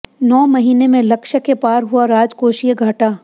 नौ महीने में लक्ष्य के पार हुआ राजकोषीय घाटा